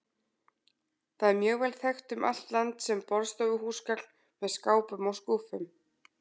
Það er mjög vel þekkt um allt land sem borðstofuhúsgagn með skápum og skúffum.